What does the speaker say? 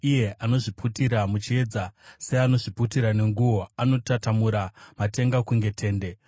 Iye anozviputira muchiedza seanozviputira nenguo; anotatamura matenga kunge tende